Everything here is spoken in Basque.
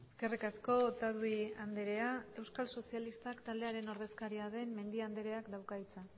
eskerrik asko otadui andrea euskal sozialistak taldearen ordezkaria den mendia andreak dauka hitza